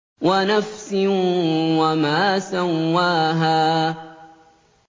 وَنَفْسٍ وَمَا سَوَّاهَا